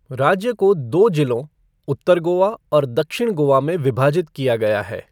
राज्य को दो जिलों, उत्तर गोवा और दक्षिण गोवा में विभाजित किया गया है।